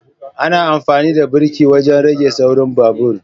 ana amfani da birki wajen rage saurin babur